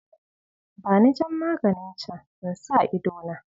Bani jan maganin can in sa idona.